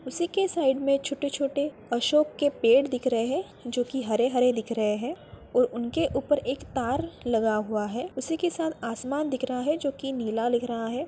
उसी के साइड में छोटे-छोटे अशोक के पेड़ दिख रहें हैं जो की हरे-हरे दिख रहें हैं और उनके ऊपर एक तार लगा हुआ है उसी के साथ आसमान दिख रहा है जोकि नीला लग रहा है।